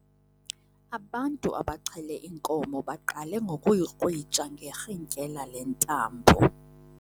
Ubantu abaxhele inkomo baqale ngokuyikrwitsha ngerhintyela lentambo.